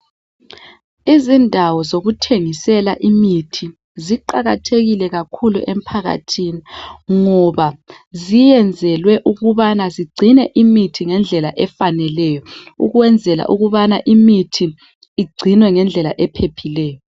Izindawo zokuthengisela imithi ziqakathekile kakhulu emphakathini ngoba ziyenzelwe ukubana zigcine imithi ngendlela efaneleyo ukwenzela ukubana imithi igcinwe ngendlela ephephileyo.